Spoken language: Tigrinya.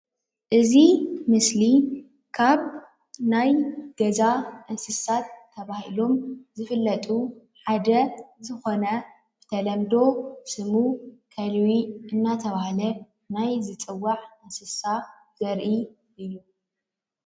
እዚ ምስሊ ካብ ናይ ገዛ እንስሳ ተባሃሎም ዝፍለጡ ሓደ ዝኾነ ብተለምዶ ስሙ ከልቢ እናተባሃለ ናይ ዝፅዋዕ እንስሳ ዘርኢ እዩ።